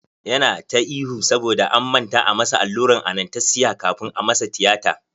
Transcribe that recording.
Yana ta ihu saboda an manta a masa allurar anastesiya kafun a masa tiyata.